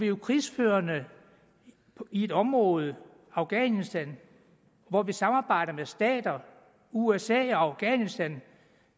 jo krigsførende i et område afghanistan hvor vi samarbejder med stater usa og afghanistan